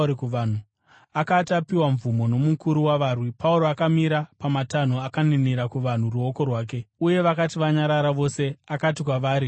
Akati apiwa mvumo nomukuru wavarwi, Pauro akamira pamatanho akaninira vanhu noruoko rwake. Uye vakati vanyarara vose, akati kwavari nechiHebheru: